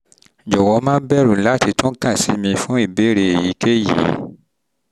jọ̀wọ́ má bẹ̀rù láti tún kàn sí mi fún ìbéèrè èyíkéyìí